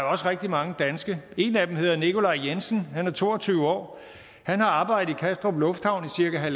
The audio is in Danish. også rigtig mange danske en af dem hedder nikolaj jensen og han er to og tyve år han har arbejdet i kastrup lufthavn i cirka